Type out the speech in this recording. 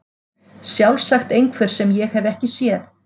Sjálfsagt einhver sem ég hef ekki séð.